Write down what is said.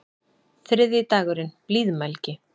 Þriðji dagurinn: Blíðmælgi.